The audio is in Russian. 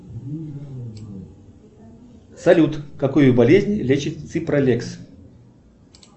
салют какую болезнь лечит ципролекс